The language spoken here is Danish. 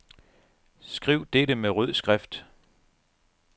Skriv dette med rød skrift.